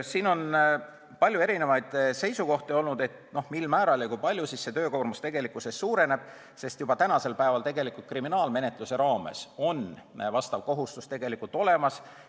Siin on olnud palju erinevaid seisukohti, mil määral ja kui palju see töökoormus tegelikkuses suureneb, sest juba praegu on kriminaalmenetluse raames vastav kohustus olemas.